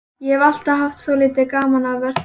Ég hef alltaf haft svolítið gaman af að versla.